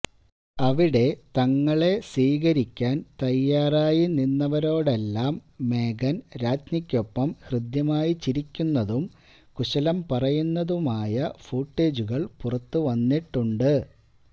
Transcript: അവിടെ തങ്ങളെ സ്വീകരിക്കാൻ തയ്യാറായി നിന്നവരോടെല്ലാം മേഗൻ രാജ്ഞിക്കൊപ്പം ഹൃദ്യമായി ചിരിക്കുന്നതും കുശലം പറയുന്നതുമായ ഫൂട്ടേജുകൾ പുറത്ത് വന്നിട്ടുണ്ട്